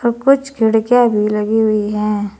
औ कुछ खिड़कियां भी लगी हुई हैं।